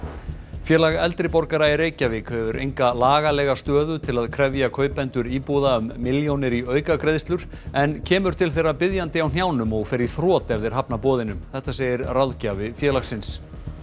félag eldri borgara í Reykjavík hefur enga lagalega stöðu til að krefja kaupendur íbúða um milljónir í aukagreiðslur en kemur til þeirra biðjandi á hnjánum og fer í þrot ef þeir hafna boðinu þetta segir ráðgjafi félagsins